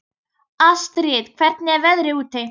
Astrid, hvernig er veðrið úti?